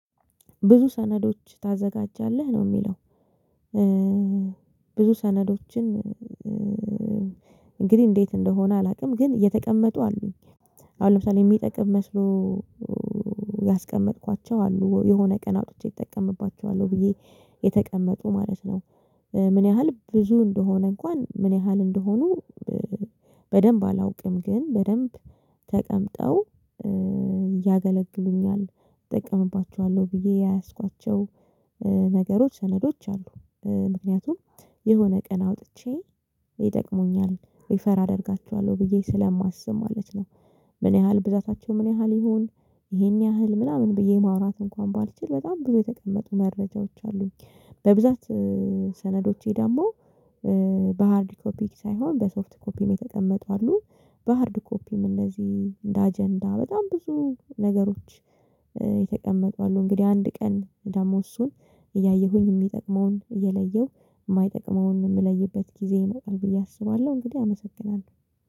ብዙ ሰነዶች ታዘጋጃለህ ነው የሚለው ብዙ ሰነዶችን እንግዲህ እንዴት እንደሆነ አላቅም ግን እየተቀመጡ አሉኝ። አሁን ለምሳሌ የሚጠቅም መስሎ ያስቀመጥኳቸው አሉ የሆነ ቀን አውጥቼ እጠቀምባቸዋለሁ ብዬ የተቀመጡ ማለት ነው። ምን ያህል ብዙ እንደሆነ እንኳን ምን ያህል እንደሆኑ? በደንብ አላውቅም ግን በደንብ ተቀምጠው ያገለግሉኝኛል ጠቀምባቸዋለሁ ብዬ የያዝኳቸው ነገሮች ሰነዶች አሉ። ምክንያቱም የሆነ ቀን አውጥቼ ይጠቅሙኛል ሪፈር አደርጋችኋለሁ ብዬ ስለማስብ ማለት ነው። ምን ያህል ብዛታቸው ምን ያህል ይሁን? ይሄን ያህል ምናምን ብዬ ማውራት እንኳን ባልችል በጣም ብዙ የተቀመጡ መረጃዎች አሉኝ። በብዛት ሰነዶቼ ደግሞ በሃርድ ኮፒ ሳይሆን በሶፍት ኮፒም የተቀመጡ አሉ። በሃርድ ኮፒም እነዚህ እንደ አጀንዳ በጣም ብዙ ነገሮች የተቀመጡ አሉ። እንግዲህ አንድ ቀን ደግሞ እሱን እያየሁኝ እሚጠቅመውን እየለየው እማይጠቅመውን የምለይበት ጊዜ ይመጣል ብዬ አስባለሁ። እንግዲህ አመሰግናለሁ